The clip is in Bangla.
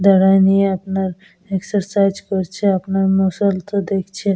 দাঁড়ায় নিয়ে আপনার এক্সেসাইজ করছে মুষল তো দেখছে।